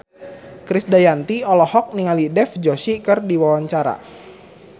Krisdayanti olohok ningali Dev Joshi keur diwawancara